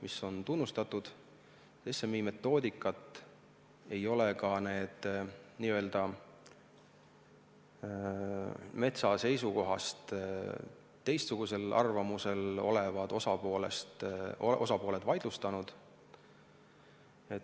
SMI-metoodikat ei ole ka need n-ö metsa seisukorrast teistsugusel arvamusel olevad osapooled vaidlustanud.